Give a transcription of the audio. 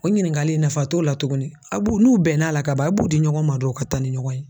O ɲininkali in nafa t'o la tugunni aw b'u, n'u bɛnn'a la ka ban aw b'u di ɲɔgɔn ma dɔrɔn ka taa ni ɲɔgɔn ye.